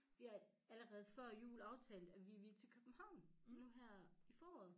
Vi har allerede før jul aftalt at vi ville til København nu her i foråret